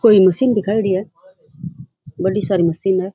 कोई मशीन दिखाऊड़ी है बढ़ी सारी मशीन है।